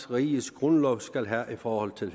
riges grundlov skal have i forhold til